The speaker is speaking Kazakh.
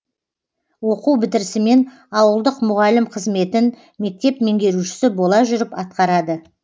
оқу бітірісімен ауылдық мұғалім қызметін мектеп меңгерушісі бола жүріп атқарады